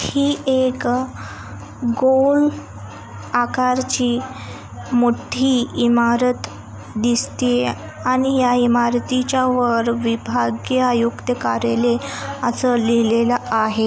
ही एक गोल आकार ची मोठी इमरत दिसतिये आणि ह्या इमारतीच्या वर विभागीय आयुक्त कार्यालय अस लीहलेला आहे.